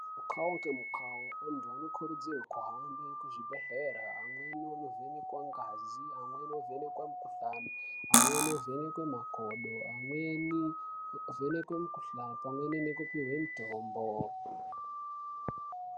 Mukao ngemukao anthu anokurudzirwe kuhambe kuzvibhedhlera amweni onovhenekwa ngazi amweni onovhenekwe mikuhlani amweni ovhenekwe makodo amweni ovhenekwe mikuhlani pamweni nekupihwe mitombo.